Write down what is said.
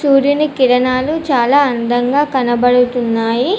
సూర్యుని కిరణాలు చాలా అందంగా కనబడుతున్నాయి.